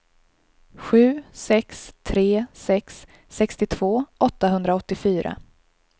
sju sex tre sex sextiotvå åttahundraåttiofyra